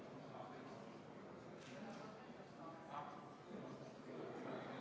Vastuseks saime teada, et Sotsiaalministeeriumile on muudatusettepanekud kooskõlastamiseks saadetud ja nendelt ühtegi märkust tulnud ei ole.